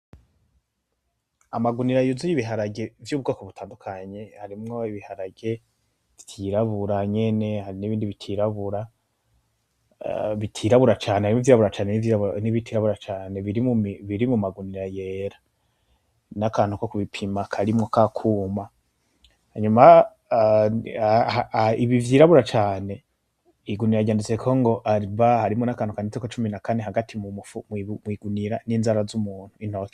amagunira yuzuye ibiharage y' ubwoko butandukanye vyirabura n' ibindi bitirabura cane nivyirabura cane biri mumagunira yera n' akantu ko kubipima karimwo kakuma hanyuma ibivyirabura cane igunira ryanditseko ariba harimwo n' akantu kanditseko cumi na kane hagati kw' igunira n' inzara z' intoke z' umuntu.